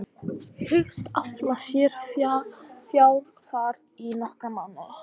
Hyggst afla sér fjár þar í nokkra mánuði.